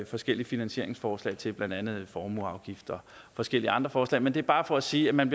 forskellige finansieringsforslag til blandt andet formueafgifter og forskellige andre forslag men det er bare for at sige at man